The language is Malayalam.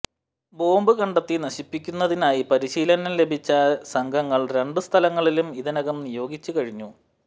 ബോംബ് കണ്ടെത്തി നശിപ്പിക്കുന്നതിനായി പരിശീലനം ലഭിച്ച സംഘങ്ങൾ രണ്ടു സ്ഥലങ്ങളിലും ഇതിനകം നിയോഗിച്ചു കഴിഞ്ഞു